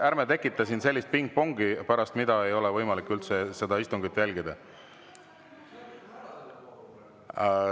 Ärme tekitame siin sellist pingpongi, mille tõttu ei ole võimalik istungit jälgida.